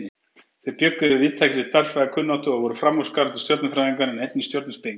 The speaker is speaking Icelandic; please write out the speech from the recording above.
Þeir bjuggu yfir víðtækri stærðfræðikunnáttu og voru framúrskarandi stjörnufræðingar en einnig stjörnuspekingar.